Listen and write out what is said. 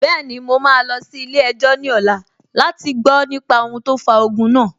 Bẹ́ẹ̀ni, mo máa lọ sí ilé-ẹjọ́ ní ọ̀la láti gbọ nípa ohun tó fa ogun náà